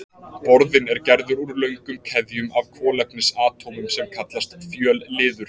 Borðinn er gerður úr löngum keðjum af kolefnisatómum sem kallast fjölliður.